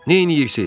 Neynirsiz?